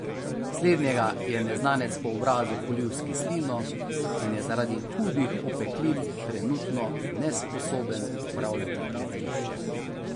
Slednjega je neznanec po obrazu polil s kislino in je zaradi hudih opeklin trenutno nesposoben upravljati gledališče.